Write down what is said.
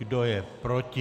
Kdo je proti?